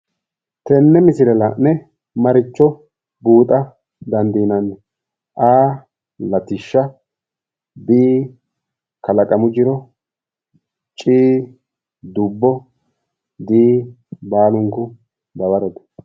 Tenne misile la'ne maricho buuxa dandiinanni? A. Latishsha B. Kalaqamu jiro C. Dubbo D. baalunku dawarote